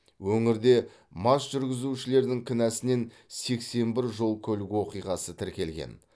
өңірде мас жүргізушілердің кінәсінен сексен бір жол көлік оқиғасы тіркелген